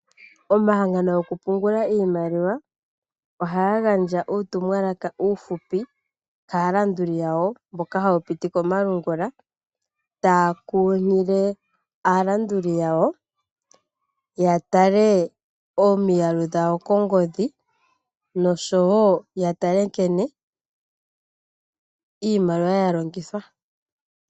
Omahangano gokupungula iimaliwa, ohaga gandja uutumwalaka uufupi kaalanduli yawo, taya kunkilile aalanduli yawo koongodhi, opo yatale nkene iimaliwa yalongithwa.